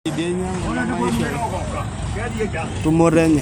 Enkitengenare ebiashara tolairemok keretu ailepunye tumoto enye.